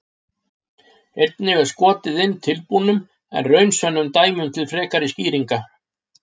Einnig er skotið inn tilbúnum en raunsönnum dæmum til frekari skýringar.